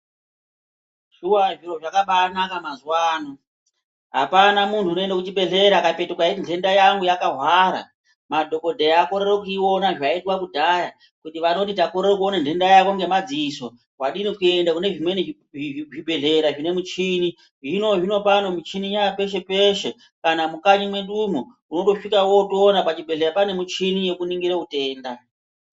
Shuwa zviro zvakabanaka mazuwa ano hapana munhu unoende kuchibhehlera akapetuka eiti nhenda yangu yakahwara madhokodhera akorere kuiona zvaiitwa kudhaya kuti vanoti takorere kuona nhenda yako ngemadziso wadini kuenda kunezvimweni zvibhehlera zvine michini zvinozvino pano michini yapeshepeshe kana mukanyi mwedumwo undosvikawotoona pachibhehlera pane michini yekuningire utenda.